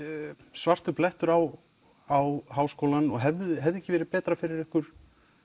svartur blettur á á Háskólann og hefði hefði ekki verið betra fyrir ykkur